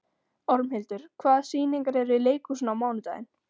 Ormhildur, hvaða sýningar eru í leikhúsinu á mánudaginn?